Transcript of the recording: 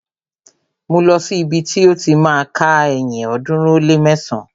Mú lọ̀ sí ibi ti ó ti má a ka ẹyin ọ̀ọ́dúnrún ó lé mẹsán!